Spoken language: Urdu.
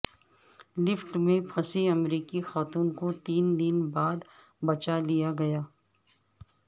لفٹ میں پھنسی امریکی خاتون کو تین دن بعد بچا لیا گیا